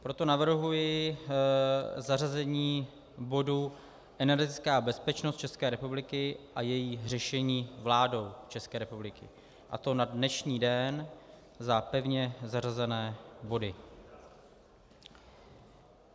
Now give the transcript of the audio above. Proto navrhuji zařazení bodu Energetická bezpečnost České republiky a její řešení vládou České republiky, a to na dnešní den za pevně zařazené body.